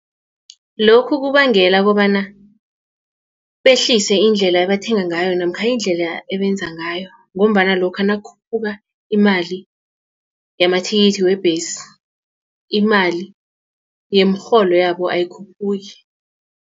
Lokhu kubangela kobana behlise indlela abathenga ngayo namkha indlela ebenza ngayo ngombana lokha nakukhuphuka imali yamathikithi webhesi imali yemirholo yabo ayikhuphuki.